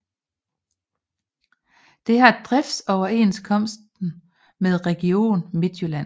Det har driftsoverenskomst med Region Midtjylland